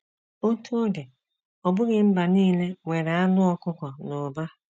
Otú ọ dị, ọ bụghị mba nile nwere anụ ọkụkọ n’ụba.